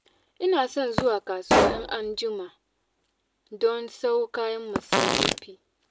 Ina son zuwa kasuwa in an ji ma don sayo kayan masarufi